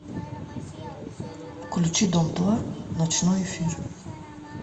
включи дом два ночной эфир